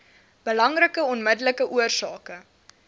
belangrikste onmiddellike oorsake